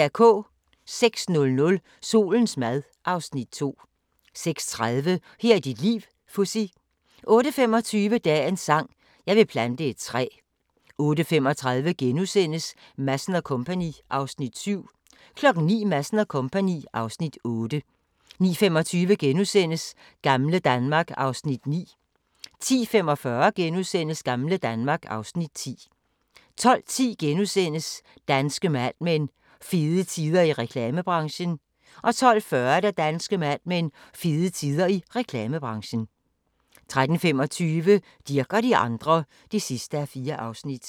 06:00: Solens mad (Afs. 2) 06:30: Her er dit liv - Fuzzy 08:25: Dagens sang: Jeg vil plante et træ 08:35: Madsen & Co. (Afs. 7)* 09:00: Madsen & Co. (Afs. 8) 09:25: Gamle Danmark (Afs. 9)* 10:45: Gamle Danmark (Afs. 10)* 12:10: Danske Mad Men: Fede tider i reklamebranchen * 12:40: Danske Mad Men: Fede tider i reklamebranchen 13:25: Dirch og de andre (4:4)